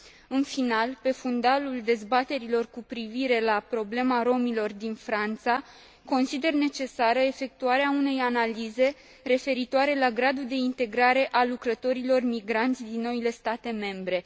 În final, pe fundalul dezbaterilor cu privire la problema romilor din Franța, consider necesară efectuarea unei analize referitoare la gradul de integrare a lucrătorilor migranți din noile state membre.